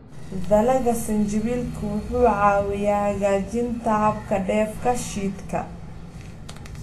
Dalagga sinjibiilku wuxuu caawiyaa hagaajinta habka dheef-shiidka.